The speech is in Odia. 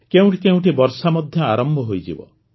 କେଉଁଠି କେଉଁଠି ବର୍ଷା ମଧ୍ୟ ଆରମ୍ଭ ହୋଇଯିବ